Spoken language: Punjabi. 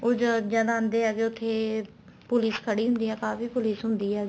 ਉਹ ਜਦ ਆਂਦੇ ਹੈਗੇ ਉੱਥੇ police ਖੜੀ ਹੁੰਦੀ ਏ ਕਾਫ਼ੀ police ਖੜੀ ਹੁੰਦੀ ਹੈਗੀ